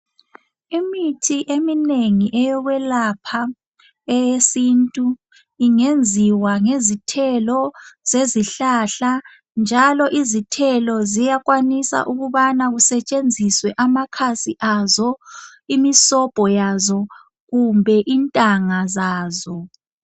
Imithi eminengi eyokwelapha eyesintu ingenziwa ngezithelo zezihlahla njalo izithelo ziyakwanisa ukubana kusetshenziswe amakhasi azo, imisobho yazo kumbe intanga zazo.